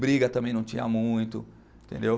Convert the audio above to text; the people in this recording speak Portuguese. Briga também não tinha muito, entendeu?